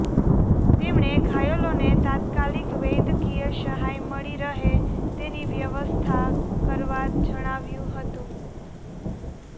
તેમણે ઘાયલોને તાત્કાલિક વૈદ્યકીય સહાય મળી રહે તેની વ્યવસ્થા કરવા જણાવ્યું હતું